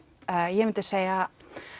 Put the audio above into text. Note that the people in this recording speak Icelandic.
ég myndi segja